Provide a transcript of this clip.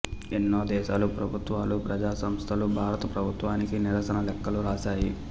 ఎన్నో దేశాల ప్రభుత్వాలు ప్రజాసంస్థలు భారత ప్రభుత్వానికి నిరసన లేఖలు రాశాయి